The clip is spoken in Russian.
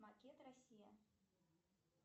макет россия